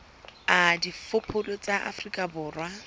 a diphoofolo tsa afrika borwa